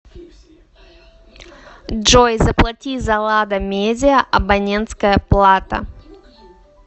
джой заплати за лада медиа абонентская плата